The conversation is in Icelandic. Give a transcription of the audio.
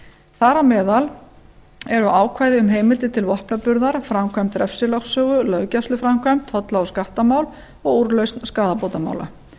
á meðal eru ákvæði um heimild til vopnaburðar framkvæmd refsilögsögu löggæsluframkvæmd tolla og skattamál og úrlausn skaðabótamála